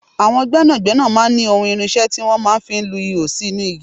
Àwọn gbẹ́nàgbẹ́nà máa ń ní ohun irinṣẹ́ tí wọ́n máa ń fi lu ihò sínú igi.